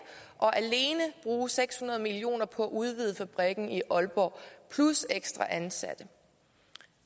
og alene bruge seks hundrede million kroner på at udvide fabrikken i aalborg plus ekstra ansatte